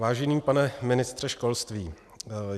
Vážený pane ministře školství.